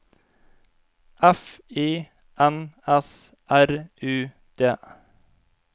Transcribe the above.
F I N S R U D